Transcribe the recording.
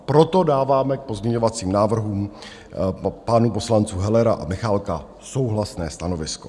Proto dáváme k pozměňovacím návrhům pánů poslanců Hellera a Michálka souhlasné stanovisko.